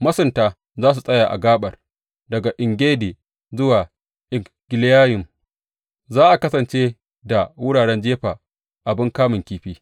Masunta za su tsaya a gaɓar; daga En Gedi zuwa En Eglayim, za a kasance da wuraren jefa abin kamun kifi.